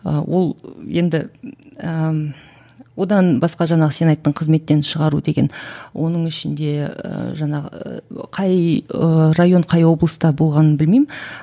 ы ол енді ііі одан басқа жаңағы сен айттың қызметтен шығару деген оның ішінде і жаңағы қай ы район қай облыста болғанын білмеймін